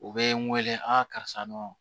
U bɛ n weele a karisa nɔ